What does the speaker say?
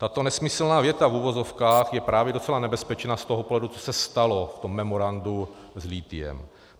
- Tato nesmyslná věta, v uvozovkách, je právě docela nebezpečná z toho pohledu, co se stalo v tom memorandu s lithiem.